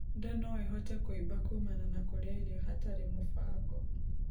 Ndaa noĩhote kuimba kumana na kurĩa irio hatari mubango